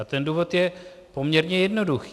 A ten důvod je poměrně jednoduchý.